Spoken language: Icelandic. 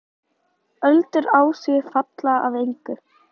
Öldur á því falla að engu.